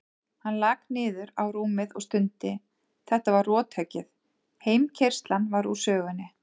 Hann lak niður á rúmið og stundi, þetta var rothöggið, heimkeyrslan var úr sögunni.